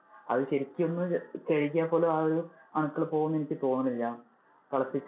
അത് ശെരിക്കും ഒന്ന് കഴുകിയാൽ പോലും ആ ഒരു അണുക്കള് പോകും എന്ന് എനിക്ക് തോന്നുന്നില്ല. തിളപ്പിച്ചാ~